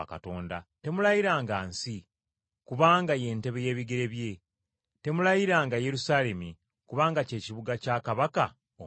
Temulayiranga nsi, kubanga y’entebe y’ebigere bye. Temulayiranga Yerusaalemi, kubanga ky’ekibuga kya Kabaka omukulu.